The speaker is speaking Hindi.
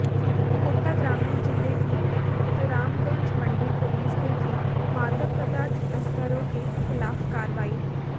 कोटा ग्रामीण जिले की रामगंज मंडी पुलिस ने की मादक पदार्थ तस्करों के खिलाफ कार्रवाई